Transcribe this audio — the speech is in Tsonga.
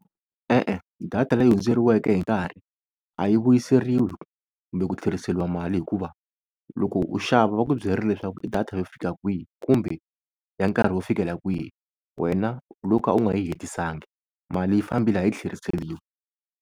E-e data leyi hundzeriweke hi nkarhi a yi vuyiseriwi kumbe ku tlheriseriwa mali, hikuva loko u xava va ku byerile leswaku i data yo fika kwihi kumbe ya nkarhi wo fikela kwihi. Wena u lo ka u nga yi hetisangi mali yi fambile a yi tlheriseriwi.